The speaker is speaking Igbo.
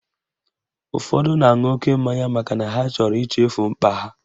Ụfọdụ na-aṅụ oke mmanya makana ha chọrọ ichefu mkpa ha